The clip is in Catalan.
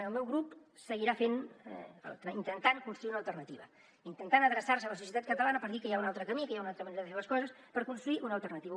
el meu grup seguirà fent intentant construir una alternativa intentant adreçar se a la societat catalana per dir que hi ha un altre camí que hi ha una altra manera de fer les coses per construir una alternativa